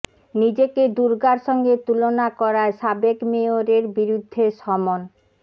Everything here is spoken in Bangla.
নিজেকে দুর্গার সঙ্গে তুলনা করায় সাবেক মেয়রের বিরুদ্ধে সমন